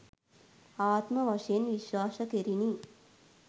ආත්ම වශයෙන් විශ්වාස කෙරිණි.